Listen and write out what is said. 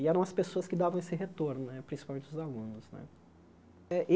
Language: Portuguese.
E eram as pessoas que davam esse retorno né, principalmente os alunos né.